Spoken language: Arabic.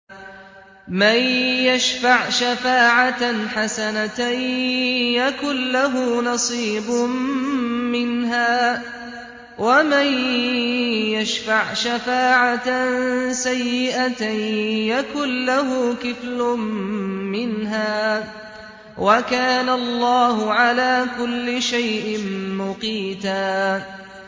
مَّن يَشْفَعْ شَفَاعَةً حَسَنَةً يَكُن لَّهُ نَصِيبٌ مِّنْهَا ۖ وَمَن يَشْفَعْ شَفَاعَةً سَيِّئَةً يَكُن لَّهُ كِفْلٌ مِّنْهَا ۗ وَكَانَ اللَّهُ عَلَىٰ كُلِّ شَيْءٍ مُّقِيتًا